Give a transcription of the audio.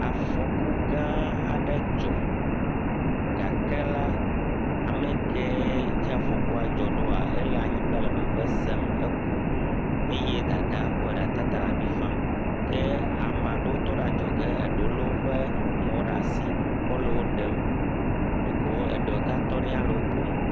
Fɔku gãa aɖe dzɔ gake la amɛkee dzi afɔkula dzɔ ɖoa, ele anyigba le veve sem, eku eye Dadaa kɔe ɖe atata le avi fam. Ke ama ɖewo tɔte ɖe adzɔge eɖewo lé woƒe mɔwo ɖa si kɔ le wo ɖem. Ɖeko eɖewo ɖeka tɔ ɖi ya hã le wo kom